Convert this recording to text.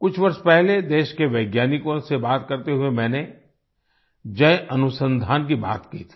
कुछ वर्ष पहले देश के वैज्ञानिकों से बात करते हुए मैंने जय अनुसंधान की बात की थी